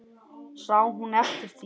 Sá hún eftir því?